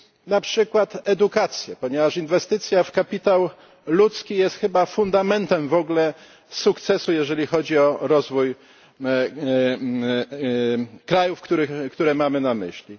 na przykład edukację, ponieważ inwestycja w kapitał ludzki jest chyba fundamentem w ogóle sukcesu, jeżeli chodzi o rozwój krajów, które mamy na myśli.